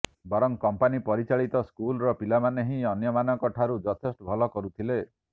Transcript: ବରଂ କମ୍ପାନୀ ପରିଚାଳିତ ସ୍କୁଲ ର ପିଲାମାନେ ହିଁ ଅନ୍ୟ ମାନଙ୍କ ଠାରୁ ଯଥେଷ୍ଟ ଭଲ କରୁ ଥିଲେ